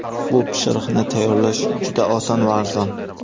Bu pishiriqni tayyorlash juda oson va arzon.